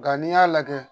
Nga n'i y'a lajɛ